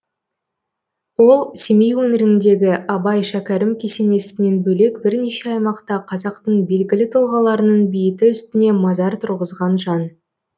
ол семей өңіріндегі абай шәкәрім кесенесінен бөлек бірнеше аймақта қазақтың белгілі тұлғаларының бейіті үстіне мазар тұрғызған жан